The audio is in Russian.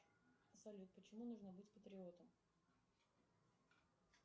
салют почему нужно быть патриотом